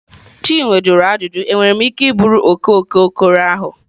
Chinwe jụrụ ajụjụ, enwere m ike iburu oke oke okoro ahụ?